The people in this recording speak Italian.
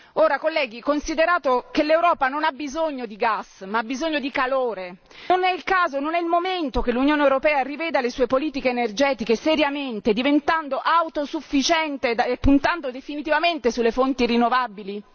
Ora, colleghi, considerato che l'Europa non ha bisogno di gas, ma ha bisogno di calore, non è il caso, non è il momento che l'Unione europea riveda le sue politiche energetiche seriamente, diventando autosufficiente e puntando definitivamente sulle fonti rinnovabili?